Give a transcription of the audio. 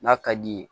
N'a ka d'i ye